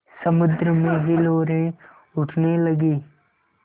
समुद्र में हिलोरें उठने लगीं